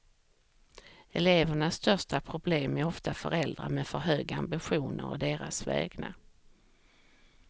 Elevernas största problem är ofta föräldrar med för höga ambitioner å deras vägnar.